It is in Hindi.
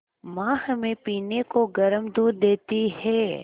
माँ हमें पीने को गर्म दूध देती हैं